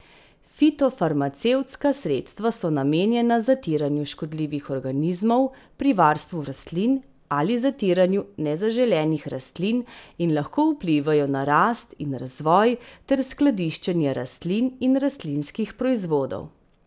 Fitofarmacevtska sredstva so namenjena zatiranju škodljivih organizmov pri varstvu rastlin ali zatiranju nezaželenih rastlin in lahko vplivajo na rast in razvoj ter skladiščenje rastlin in rastlinskih proizvodov.